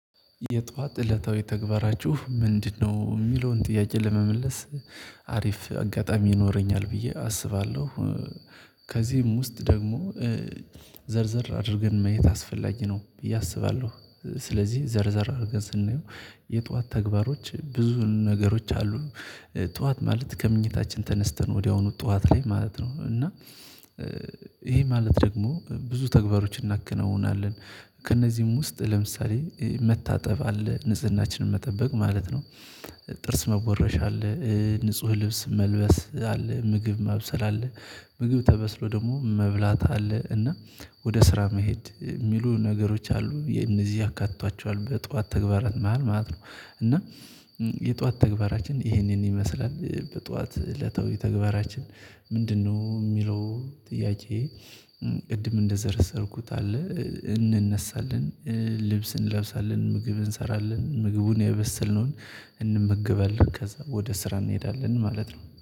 የጧት እለታዊ ተግባራችሁ ምንድነው? የሚለውን ጥያቄ ለመመለስ አሪፍ አጋጣሚ ይኖረኛል ብዬ አስባለሁ። ከዚህም ውስጥ ደግሞ ዘርዘር አድርገን ማየት አስፈላጊ ነው ብዬ አስባለሁ። ስለዚህ ዘርዘር አድርገን ስናየው የጧት ተግባሮች ብዙ ነገሮች አሉ። ጠዋት ማለት ከመኝታችን ተነስተን ወዲያውኑ ጠዋት ላይ ማለት ነው እና ይሄ ማለት ደግሞ ብዙ ተግባሮችን እናከናውናለን። ከእነዚህም ውስጥ ለምሳሌ መታጠብ አለ ንጽህናችንን መጠበቅ ማለት ነው። ጥርስ መቦረሽ አለ ንጹህ ልብስ መልበስ አለ ምግብ ማብሰል አለ። ምግብ ተበስሎ ደግሞ መብላት አለ እና ወደ ስራ መሄድ የሚሉ ነገሮች አሉ እነዚህ ያካትቷቸዋል በጠዋት ተግባራት መሃል ማለት ነው። እና የጠዋት ተግባራችን ይህንን ይመስላል በጠዋት እለታዊ ተግባራችን ምንድነው የሚለው ጥያቄ? ቅድም እንደዘረዘርኩት አለ እንነሳለን። ልብስ እንለብሳለን ምግብ እንሰራለን ምግቡን ያበሰልነውን እንመገባለን ከዛ ወደ ስራ እንሄዳለን ማለት ነው